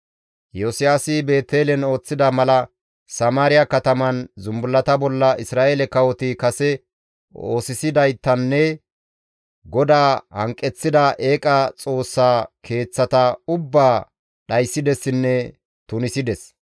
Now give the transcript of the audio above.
Iyosiyaasi Beetelen ooththida mala Samaariya kataman zumbullata bolla Isra7eele kawoti kase oosisidaytanne GODAA hanqeththida eeqa xoossa keeththata ubbaa dhayssidessinne tunisides.